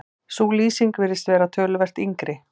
sú lýsing virðist vera töluvert yngri